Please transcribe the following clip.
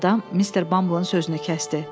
Yad adam Mister Bumble-ın sözünü kəsdi.